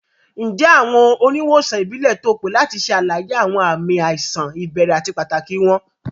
Ǹjẹ́ awọn oníwọ̀sàn ìbílẹ̀ tó pé lati ṣè alàyé awọn ààmì àìsàn ibèrè àti pàtàkì wọn?